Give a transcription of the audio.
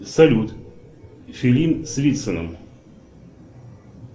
салют фильм с вициным